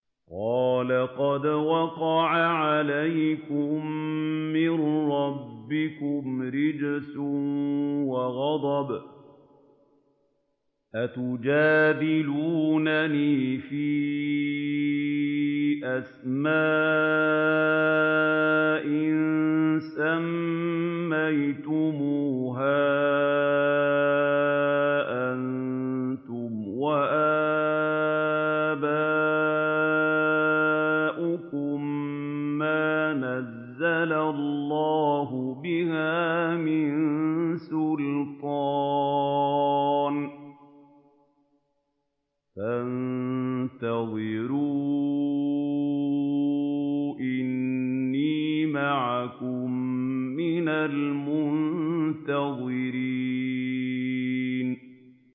قَالَ قَدْ وَقَعَ عَلَيْكُم مِّن رَّبِّكُمْ رِجْسٌ وَغَضَبٌ ۖ أَتُجَادِلُونَنِي فِي أَسْمَاءٍ سَمَّيْتُمُوهَا أَنتُمْ وَآبَاؤُكُم مَّا نَزَّلَ اللَّهُ بِهَا مِن سُلْطَانٍ ۚ فَانتَظِرُوا إِنِّي مَعَكُم مِّنَ الْمُنتَظِرِينَ